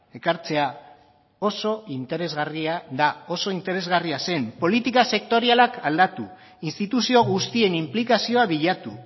ekartzea oso interesgarria da oso interesgarria zen politika sektorialak aldatu instituzio guztien inplikazioa bilatu